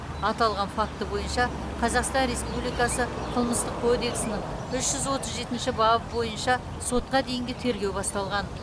аталған факті бойынша қазақстан республикасы қылмыстық кодексінің үш жүз отыз жетінші бабы бойынша сотқа дейінгі тергеу басталған